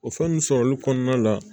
O fɛn nunnu sɔrɔli kɔnɔna la